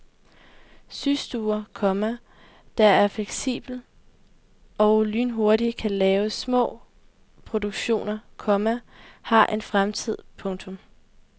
Systuer, komma der er fleksible og lynhurtigt kan lave små produktioner, komma har en fremtid. punktum